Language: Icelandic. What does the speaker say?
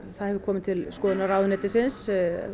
það hefur komið til skoðunar ráðuneytisins